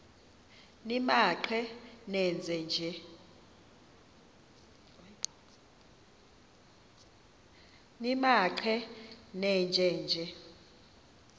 nimaqe nenje nje